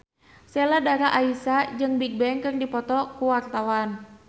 Sheila Dara Aisha jeung Bigbang keur dipoto ku wartawan